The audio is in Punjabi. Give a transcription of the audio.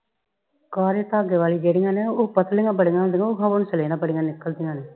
ਕਾਲੇ ਧਾਗੇ ਵਾਲੀ ਜਿਹੜੀਆਂ ਨੇ ਉਹ ਪਤਲੀ ਬਹੁਤ ਹੁੰਦੀਆਂ ਉਹ ਹੌਂਸਲੇ ਨਾਲ ਬੜੀ ਨਿਕਲਦੀਆਂ ਨੇ।